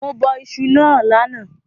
Mo bọ isu náà lánàá